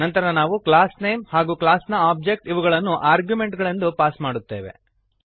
ನಂತರ ನಾವು class name ಹಾಗೂ ಕ್ಲಾಸ್ ನ ಓಬ್ಜೆಕ್ಟ್ ಇವುಗಳನ್ನು ಆರ್ಗ್ಯುಮೆಂಟ್ ಗಳೆಂದು ಪಾಸ್ ಮಾಡುತ್ತೇವೆ